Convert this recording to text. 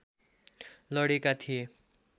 लडेका थिए